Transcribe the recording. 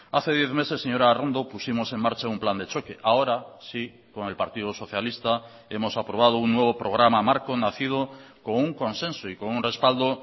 hace diez meses señora arrondo pusimos en marcha un plan de choque ahora sí con el partido socialista hemos aprobado un nuevo programa marco nacido con un consenso y con un respaldo